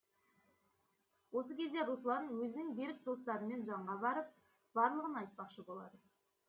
осы кезде руслан өзінің берік достарымен жанға барып барлығын айтпақшы болады